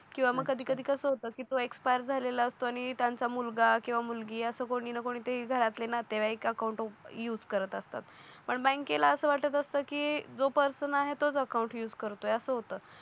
किवा मग कधी कधी कसं होतं की तू एक्सपायर झालेला असतो आणि त्यांचा मुलगा किंवा मुलगी असं कोणी ना कोणी तरी घरातले नातेवाईक अकाउंट युज करत असतात पण बँकेला असं वाटत असतं की जो पर्सन आहे तोच अकाउंट युज करतोय असं होतं